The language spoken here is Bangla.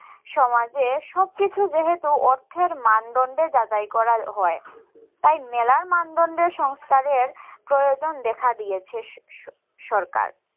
সমাজের সবকিছু যেহেতু অর্থের মানদন্ডে যাচাই করা হয় তাই মেলার মানদন্ডের সংস্কারের প্রয়োজন দেখা দিয়েছে সরকার